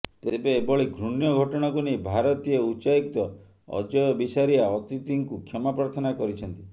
ତେବେ ଏଭଳି ଘୃଣ୍ୟ ଘଟଣାକୁ ନେଇ ଭାରତୀୟ ଉଚ୍ଚାୟୁକ୍ତ ଅଜୟ ବିସାରିୟା ଅତିଥିଙ୍କୁ କ୍ଷମା ପ୍ରାର୍ଥନା କରିଛନ୍ତି